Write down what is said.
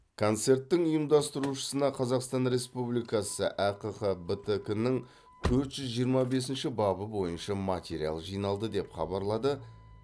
концерттің ұйымдастырушысына қазақстан республикасы әқбтк нің төрт жүз жиырма бесінші бабы бойынша материал жиналды деп хабарлады